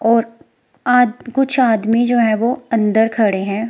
और आज कुछ आदमी जो है वो अंदर खड़े हैं।